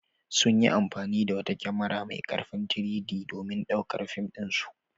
Sun yi amfani da wata kyamara mai ƙarfin 3-D domin ɗaukar fim ɗinsu.